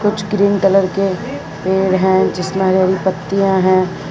कुछ cream colour के पेड़ है जिसमें हरी हरी पत्तियां हैं।